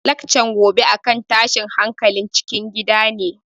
Laccan gobe a kan tashin hankalin cikin gida ne